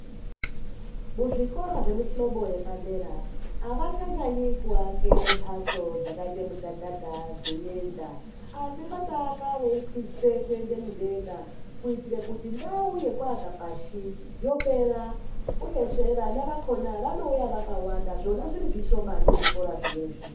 Muzvikora zvemuhlobo yepadera avachanyanyi kuake mhatso dzakaite mudhadhadha dzeienda asi votaka veikwidze kuende mudenga kuitire kuti ndau yekuaka pashi yopera uyezve vana vakhona vanouya vakawanda zvona zviri zvishomani zvikora zvinezvi.